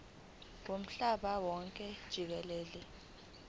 womhlaba wonke jikelele